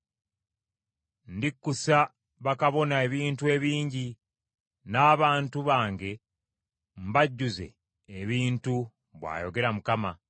Ndikkusa bakabona ebintu ebingi, n’abantu bange mbajjuze ebintu,” bw’ayogera Mukama .